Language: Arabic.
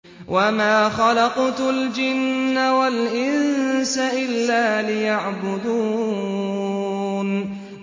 وَمَا خَلَقْتُ الْجِنَّ وَالْإِنسَ إِلَّا لِيَعْبُدُونِ